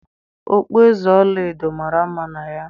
Okpueze ọla edo mara mma na ya.